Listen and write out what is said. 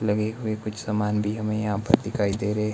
लगी हुई कुछ सामान भी हमे यहां पर दिखाई दे रहे--